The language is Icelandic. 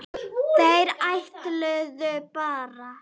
Þeir ætluðu bara